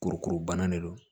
Kurukuru banna de don